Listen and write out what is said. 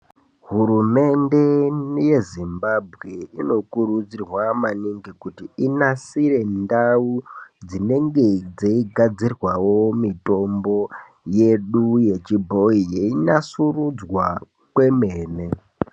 Hurumende yeZimbabwe inokurudzirwa maningi kuti inasire ndau dzinenge dzeigadzirwawo mitombo yedu yechibhoyi yeinasurudzwa kwemene.